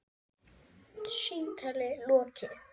Símtali lokið.